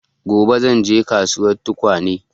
Gobe zan je kasuwan tukwane